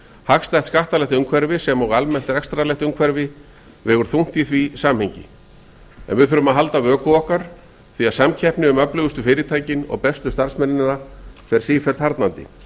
hagstætt skattalegt umhverfi sem og almennt rekstrarlegt umhverfi vegur þungt í því samhengi en við þurfum að halda vöku okkar því að samkeppni um öflugustu fyrirtækin og bestu starfsmennina fer sífellt harðnandi